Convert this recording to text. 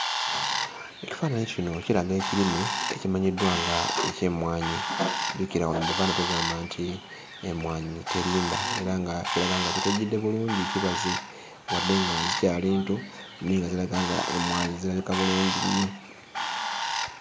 Ekifaananyi kino kiraga ekirime ekimanyiddwa nga eky'emmwanyi, jjukira wano mu Buganda tugamba nti emmwanyi terimba, era nga kiraga nga kitojjedde bulungi kibaze wadde nga zikyali nto naye nga ziraga nga emmwanyi zirabika bulungi nnyo.